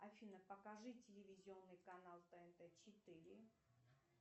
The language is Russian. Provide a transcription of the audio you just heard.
афина покажи телевизионный канал тнт четыре